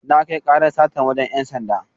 Na kai karar satar wajen ‘yan sanda.